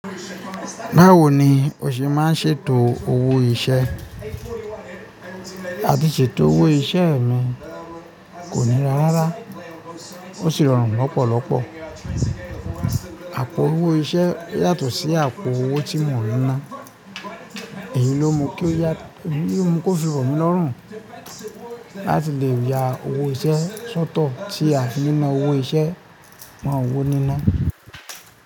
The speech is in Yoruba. Báwo ni o ṣe máa ń ṣètò owó iṣẹ́? A ti ṣètò owó iṣẹ́ mi, kò ní ra rárá. Ó sì rọrùn lọ́pọ̀lọpọ̀. Àpò owó iṣẹ́ yàtọ̀ sí àpò owó tí mò ń ná. Èyí ló mú kí ya, eyi lo mu ki ó fi rọ̀ mí lọ́rùn láti lè ya owó iṣẹ́ sọ́tọ̀ tí a fi na owó iṣẹ́ mo owó níná.